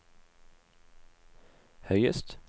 høyest